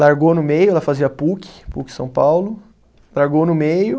Largou no meio, ela fazia Puc, Puc São Paulo, largou no meio.